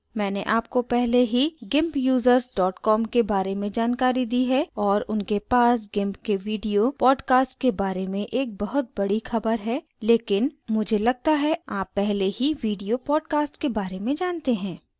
मैंने आपको पहले ही gimpusers com के बारे में जानकारी दी है और उनके पास gimp के video podcast के बारे में एक बहुत बड़ी ख़बर है लेकिन मुझे लगता है आप पहले ही video podcast के बारे में जानते हैं